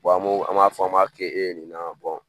an b'o, an b'a fɔ an b'a kɛ e ye nin na